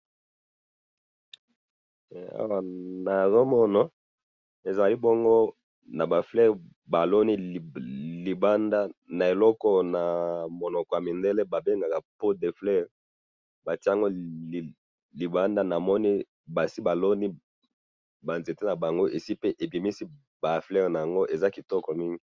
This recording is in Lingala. Awa nazo mona ezali bongo naba fleurs ba loni libanda na eloko na monoko ya mindele ba bengaka pot de fleur, batie yango libanda, namoni basi ba loni ba nzete na bango esi pe ebiminsi ba fleurs nango, eza kitoko mingi